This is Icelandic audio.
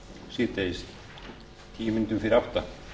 síðdegis til tíu mín fyrir átta